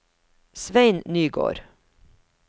Svein Nygård